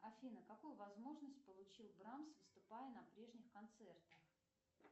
афина какую возможность получил брамс выступая на прежних концертах